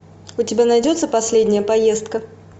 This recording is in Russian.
у тебя найдется последняя поездка